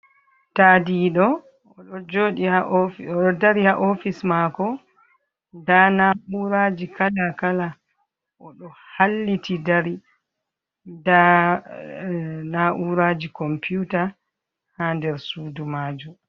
Tadiɗo, o ɗo joɗi ha ofice o ɗo dari ha ofice mako, nda nauraji kala kala, o ɗo halliti dari, nda na uraji komputa ha der sudu majum.